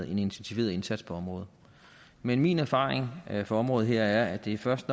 en intensiveret indsats på området men min erfaring fra området her er at det først